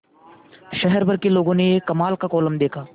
शहर भर के लोगों ने यह कमाल का कोलम देखा